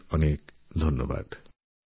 অনেক অনেক ধন্যবাদ